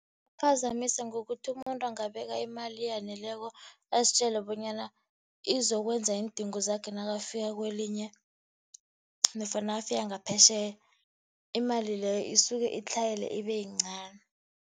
ngokuthi umuntu angabeka imali eyaneleko, azitjele bonyana izokwenza iindingo zakhe nakafika kwelinye, nofana nakafika ngaphetjheya. Imali leyo isuke itlhayele, ibe yincani.